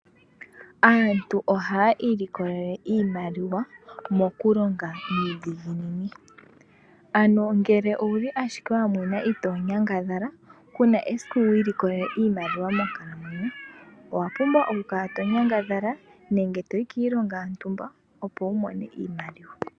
Aantu oha ilikolele oshimaliwa mokulonga iidhiginini ano ngele owuli ashike wamwena itoo nyangadhala kuna esiku wiilikolelele iimaliwa monkalamwenyo owapumbwa okukala tonyangadhala nenge toyi kiilonga yontumba opo wumone iimaliwa.